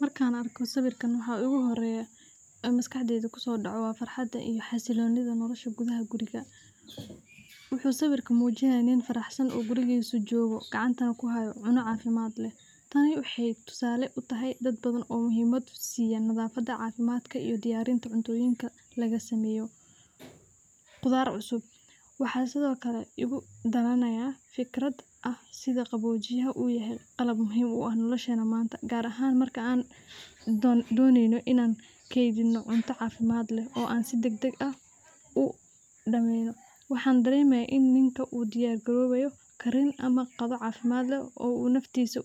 Markan arko sawirkan waxaa igu horeya oo maskaxdeyda kusodacde farxada iyo xasilonidha nolosha gudhaha wuxuu sawirka mujinayaa nin faraxsan oo jogo gacantana ku hayo cuno cafimaad leh, tani waxee tusale u tahay nadhafaada cafimaadka iyo cuntoyinka laga sameyo qudhaar cusub, waxaa sithokale fikraad oo sitha qawojiya ah oo nolosheyna manta gar ahan in an doneyno cunto cafimaad dagdag ah u damestirayo, waxan daremaya in nika u diyar galayo karin ama qadho cafimaad leh oo naftisa